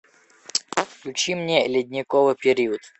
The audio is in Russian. включи мне ледниковый период